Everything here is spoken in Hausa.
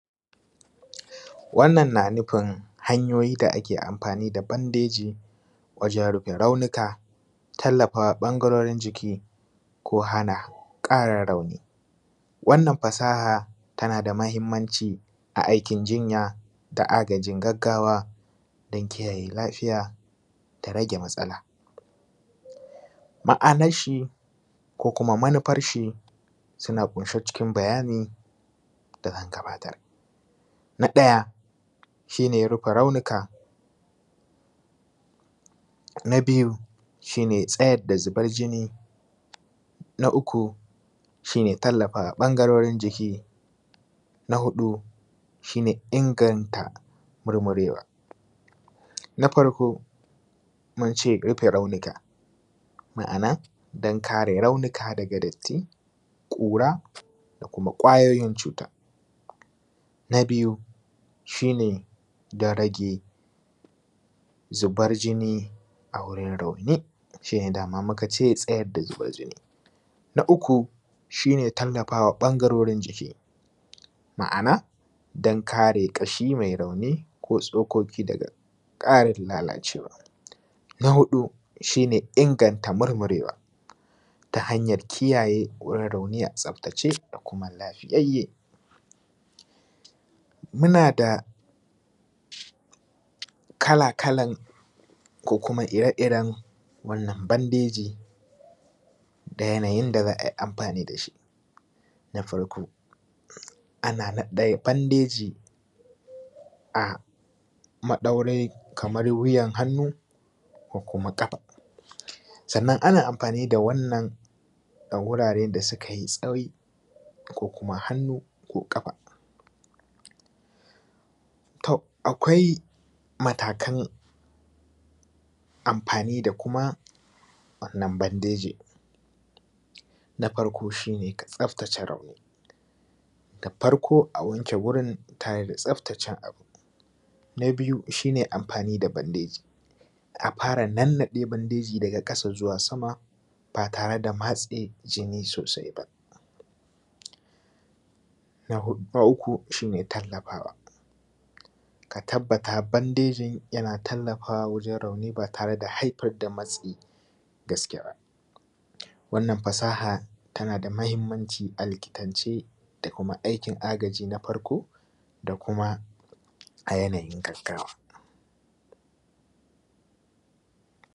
Wannan na nufin hanyoyi da ake amfani da bandeji wajen rufe raunuka, tallafa ɓangarorin jiki ko hana ƙarin rauni, wannan fasaha tana da mahimanci a aikin jinya da agajin gaggawa dan kiyaye lafiya ta rage matsala ma’ananshi ko kuma manufarshi suna ƙunshe cikin bayani da zan gabatar. Na ɗaya shi ne rufe raunuka na biyu shi ne tsayar da zubar jini, na uku shi ne tallafa ɓangarorin jiki, na huɗu shi ne inganta murmurewa na farko mun ce rufe raunuka, ma’ana dan kare raunuka daga datti, ƙura da kuma kwayoyin cutan na biyu shi ne dan rage zubar jini a wurin rauni shi ne dama muka ce tsayar da zubar jini na uku shi ne tallafawa ɓangarorin jiki ma’ana dan kare ƙashi mai rauni ko tsokoki daga ƙarin lalacewa. Na huɗu shi ne inganta murmurewa ta hanyar kiyaye wurin rauni, a tsaftace kuma lafiyayye muna da kala-kalan ko kuma ire-iren wannan bandejin da yanayin da za ai amfani da shi na farko ana naɗe bandeji a madaurin kaman wuyar hannu ko kuma gaba sannann ana amfani da wannan ga wurare da suka yi tsayi ko kuma hannu ko ƙafa. Tom, akwai matakan amfani da kuma wannann bandeji na farko shi ne ka tsaftace rauni da farko a wanke wurin tare da tsaftacewa, na biyu shi ne amfani da bandeji a fara naɗe bandeji daga ƙasa zuwa sama ba tare da matse jini sosai ba, na uku shi ne tallafawa ka tabbata bandejin yana tallafawa wajen raunin ba tare da haifar da matsi gaske ba wannan fasaha tana da mahimmanci alikitance da kuma aikin agaji na farko da kuma a yanayin gaggawa.